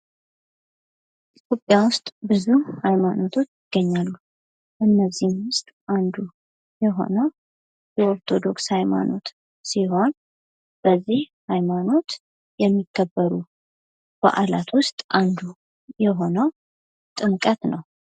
ኢትዮጵያ ውስጥ ብዙ ሀይማኖት ይገኛሉ ከእነዚህም ውስጥ አንዱ የሆነው የኦርቶዶክስ ሃይማኖት ሲሆን ይህ ሃይማኖት ውስጥ የሚከበሩ በዓላት ውስጥ አንዱ የሆነው የጥምቀት በአል ነው።